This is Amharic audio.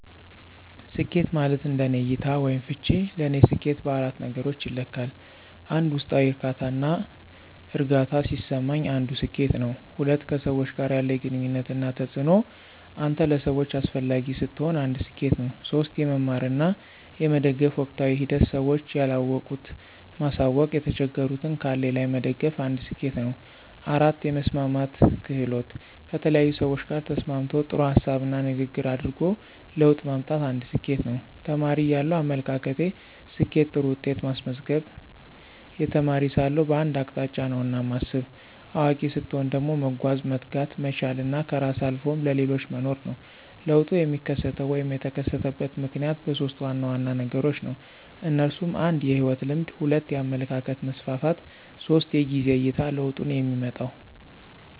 ስኬት ማለት እንደኔ እይታ /ፍች ለኔ ሰኬት በአራት ነገሮች ይለካል 1, ውስጣዊ ዕርካታና እርግአታ ሲሰማኝ አንዱ ስኬት ነው። 2, ከሰዎች ጋር ያለኝ ግንኙነት እና ተጽእኖ አንተ ለሰዎች አሰፈላጊ ስትሆን አንድ ሰኬት ነው። 3, የመማር እና የመደገፍ ወቅታዊ ሂደት ስዎች ያለወቁት ማሳውቅ የተቸገሩትን ካለኝ ላይ መደገፍ አንድ ስኬት ነው 4, የመስማማት ክህሎት: ከተለያዪ ሰዎች ጋር ተስማምቶ ጥሩ ሀሳብና ንግግር አድርጎ ለውጥ ማምጣት አንድ ስኬት ነው። ተማሪ እያለው አመለካከቴ፦ ስኬት ጥሩ ውጤት ማስመዝገብ, የተማሪ ሳለሁ በአንድ አቅጣጫ ነውና ማስብ። አዋቂ ሰትሆን ደግሞ መጓዝ፣ መትጋት፣ መቻል እና ከራስ አልፎም ለሌሎች መኖር ነው። ለውጡ የሚከሰተው /የተከሰተበት ምክንያት በሦስት ዋና ዋና ነገሮች ነው። እነሱም 1, የህይወት ልምድ 2, የአመለካከት መስፍፍት 3, የጊዜ አይታ ለውጡንየሚመጣው።